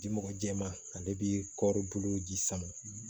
Di mɔgɔ jɛman ale bɛ kɔɔribu bolo ji sama